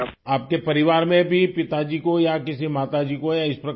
آپ کے خاندان میں بھی والد کو والدہ کو یا ا س طرح کا عارضہ پہلے رہا ہے کیا؟